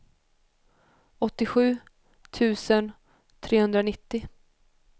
åttiosju tusen trehundranittio